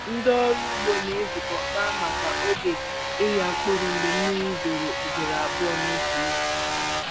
Ndị ọrụ ugbo na-ezukọ kpaa maka oge ịgha mkpụrụ mgbe mmiri zoro ugboro abụọ n'otu izu.